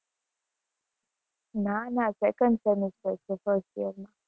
ના ના second semester છે first year નું.